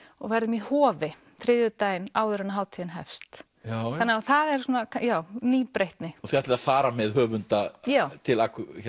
og verðum í Hofi þriðjudaginn áður en hátíðin hefst það er svona nýbreytni þið ætlið að fara með höfunda til